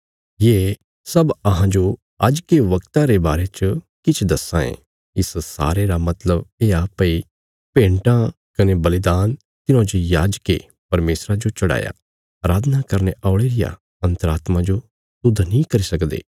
ये सब अहांजो आज्ज के वगता रे बारे च किछ दस्सां ये इस सारे रा मतलब येआ भई भेन्टां कने बलिदान तिन्हौं जे याजकें परमेशरा जो चढ़ाया अराधना करने औल़े रिया अन्तरात्मा जो शुद्ध नीं करी सकदे